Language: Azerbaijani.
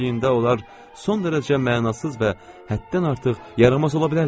Öz-özlüyündə onlar son dərəcə mənasız və həddən artıq yaramaz ola bilərlər.